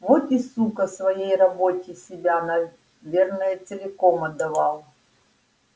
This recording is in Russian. вот и сука своей работе себя наверное целиком отдавал